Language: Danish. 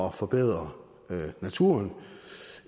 at forbedre naturen